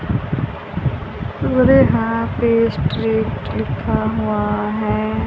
लिखा हुआ है।